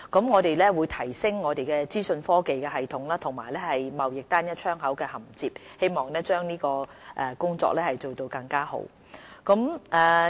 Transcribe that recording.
我們會提升資訊科技系統以及與"貿易單一窗口"銜接，希望將有關工作做得更好。